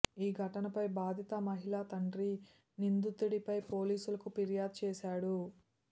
ఈ ఘటనపై బాధిత మహిళ తండ్రి నిందితుడిపై పోలీసులకు ఫిర్యాదు చేశాడు